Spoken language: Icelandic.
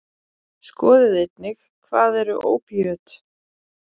Skoðið einnig: Hvað eru ópíöt?